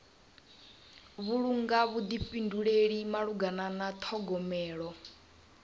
vhulunga vhuḓifhinduleli malugana na ṱhogomelo